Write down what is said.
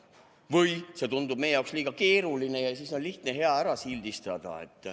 Või see tundub meie jaoks liiga keeruline ja siis on lihtne ja hea ära sildistada.